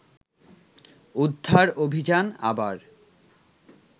উদ্ধার অভিযান আবার